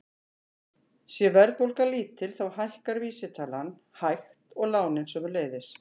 Sé verðbólga lítil þá hækkar vísitalan hægt og lánin sömuleiðis.